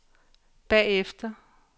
bagefter